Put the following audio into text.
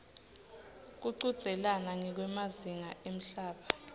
kuchudzelana ngekwemazinga emhlaba